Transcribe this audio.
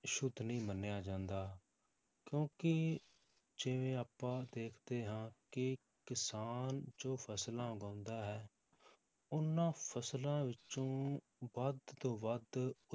ਸੁੱਧ ਨਹੀਂ ਮੰਨਿਆ ਜਾਂਦਾ ਕਿਉਂਕਿ ਜਿਵੇਂ ਆਪਾਂ ਦੇਖਦੇ ਹਾਂ ਕਿ ਕਿਸਾਨ ਜੋ ਫਸਲਾਂ ਉਗਾਉਂਦਾ ਹੈ, ਉਹਨਾਂ ਫਸਲਾਂ ਵਿੱਚੋਂ ਵੱਧ ਤੋਂ ਵੱਧ